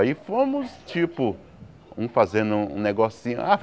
Aí fomos, tipo, um fazendo um negocinho. Ah